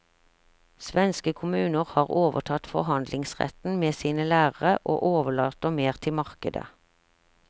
Svenske kommuner har overtatt forhandlingsretten med sine lærere og overlater mer til markedet.